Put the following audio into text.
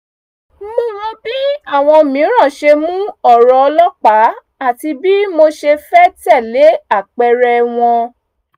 mo wo bí àwọn mìíràn ṣe mu ọ̀rọ̀ ọlọ́pàá àti bí mo ṣe fẹ́ tẹ̀lé ápẹẹrẹ wọn